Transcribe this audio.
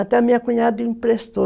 Até a minha cunhada emprestou.